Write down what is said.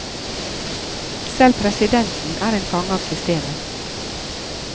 Selv presidenten er en fange av systemet.